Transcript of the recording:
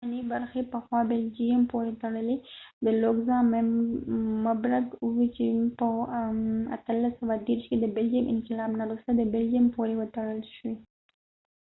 د بلجیم belgium اوسنی برخی پخوا د لوکزامبرګ luxembourg پورې تړلی وي چې په 1830 کې د بلجېم انقلاب نه وروسته د بلجیم پورې وتړل شوي